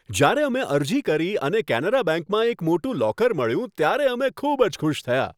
જ્યારે અમે અરજી કરી અને કેનેરા બેંકમાં એક મોટું લોકર મળ્યું ત્યારે અમે ખૂબ જ ખુશ થયા.